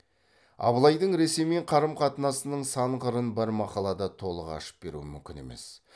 абылайдың ресеймен карым қатынасының сан қырын бір мақалада толық ашып беру мүмкін емес